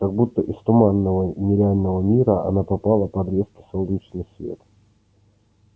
как будто из туманного нереального мира она попала под резкий солнечный свет